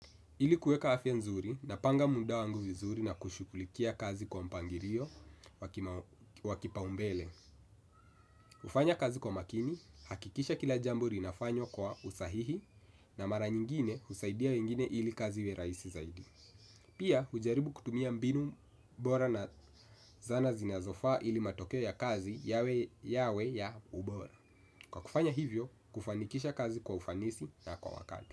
Ili kuweka afya nzuri, napanga muda wangu vizuri na kushughulikia kazi kwa mpangilio wa kipaumbele. Hufanya kazi kwa makini, hakikisha kila jambo linafanywa kwa usahihi. Na mara nyingine husaidia wengine ili kazi iwe rahisi zaidi. Pia, hujaribu kutumia mbinu bora na zana zinazofaa ili matokeo ya kazi yawe ya ubora. Kwa kufanya hivyo, kufanikisha kazi kwa ufanisi na kwa wakati.